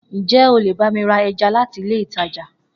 Njẹ o lè bá mi ra ẹja láti ilé ìtajà?